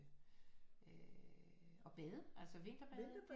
Øh at bade altså at vinterbade